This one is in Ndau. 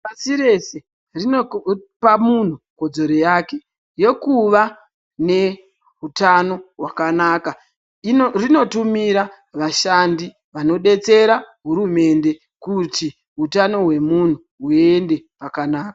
Pasi rese rinopa muntu kodzero yake yekuva nehutano hwakanaka rinotumira vashandi vanodetsera hurumende kuti hutano hwemuntu huve hwakanaka.